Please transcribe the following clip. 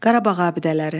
Qarabağ abidələri.